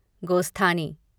गोस्थानी